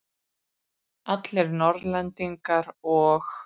Allir Norðlendingar og